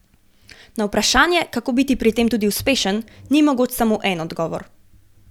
Na vprašanje, kako biti pri tem tudi uspešen, ni mogoč samo en odgovor.